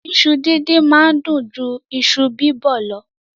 Iṣu díndín máa ń dùn ju iṣu bíbọ̀ lọ.